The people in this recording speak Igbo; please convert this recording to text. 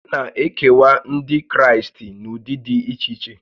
A na-ekewa Ndị Kraịst n'ụdị dị iche iche